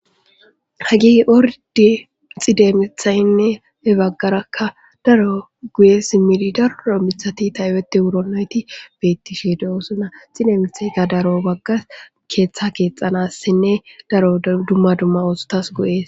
Hagi ordi xidemethaynne he baggarakka daro guye simili darro mithati tayweti wuro nayti beettishe de'oosuna xidemethayka daro bagga keeththa keexanassinne daro dumma dumma oosotas goyees